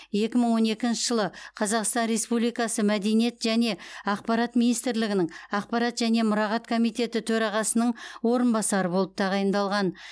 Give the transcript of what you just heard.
екі мың он екінші жылы қазақстан республикасы мәдениет және ақпарат министрлігінің ақпарат және мұрағат комитеті төрағасының орынбасары болып тағайындалған